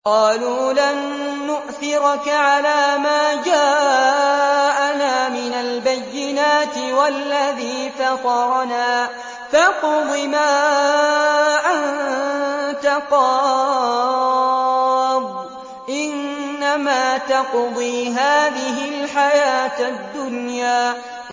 قَالُوا لَن نُّؤْثِرَكَ عَلَىٰ مَا جَاءَنَا مِنَ الْبَيِّنَاتِ وَالَّذِي فَطَرَنَا ۖ فَاقْضِ مَا أَنتَ قَاضٍ ۖ إِنَّمَا تَقْضِي هَٰذِهِ الْحَيَاةَ الدُّنْيَا